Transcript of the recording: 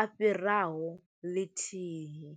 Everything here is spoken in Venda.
a fhiraho ḽithihi.